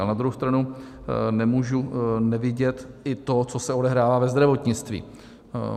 A na druhou stranu nemůžu nevidět i to, co se odehrává ve zdravotnictví.